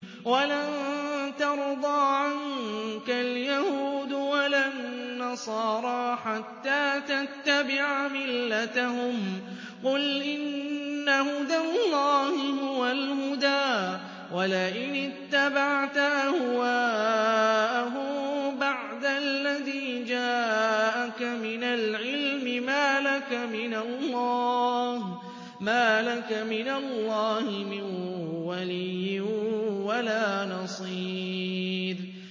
وَلَن تَرْضَىٰ عَنكَ الْيَهُودُ وَلَا النَّصَارَىٰ حَتَّىٰ تَتَّبِعَ مِلَّتَهُمْ ۗ قُلْ إِنَّ هُدَى اللَّهِ هُوَ الْهُدَىٰ ۗ وَلَئِنِ اتَّبَعْتَ أَهْوَاءَهُم بَعْدَ الَّذِي جَاءَكَ مِنَ الْعِلْمِ ۙ مَا لَكَ مِنَ اللَّهِ مِن وَلِيٍّ وَلَا نَصِيرٍ